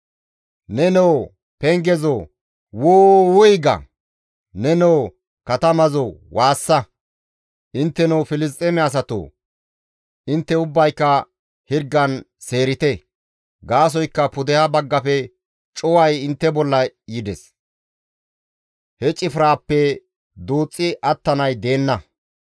«Nenoo pengezoo! Wuu! Wuy ga; Nenoo katamazoo! Waassa; Intteno Filisxeeme asatoo! Intte ubbayka hirgan seerite! Gaasoykka pudeha baggafe cuway intte bolla yides; he cifraappe duuxxi attanay deenna.